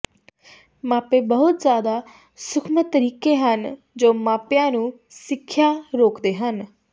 ਮਾਪੇ ਬਹੁਤ ਜ਼ਿਆਦਾ ਸੂਖਮ ਤਰੀਕੇ ਹਨ ਜੋ ਮਾਪਿਆਂ ਨੂੰ ਸਿੱਖਿਆ ਰੋਕਦੇ ਹਨ